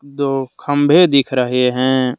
दो खंभे दिख रहे हैं।